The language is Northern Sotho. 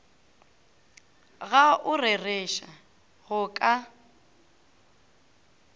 ga o rereše go ka